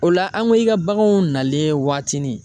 O la an ko i ka baganw nalen waatinin.